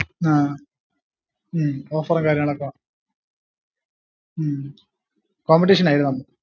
ആഹ് ഹും offer ഉം കാര്യങ്ങളൊക്ക ഉം competition ആയിരുന്നൊ